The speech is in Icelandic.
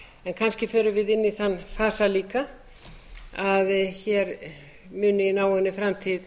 kannski förum við inn í þann fasa líka að hér muni í náinni framtíð